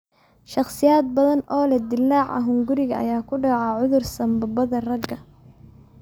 Shakhsiyaad badan oo leh dildilaaca hunguriga ayaa ku dhaca cudur sambabada raaga.